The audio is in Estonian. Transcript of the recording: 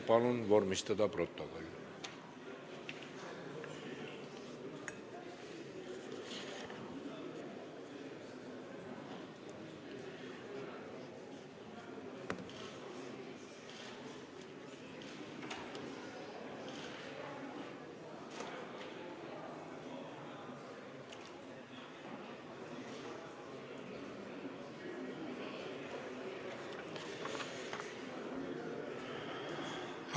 Palun vormistada protokoll!